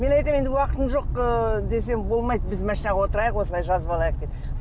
мен айтамын енді уақытым жоқ ы десем болмайды біз машинаға отырайық осылай жазып алайық деп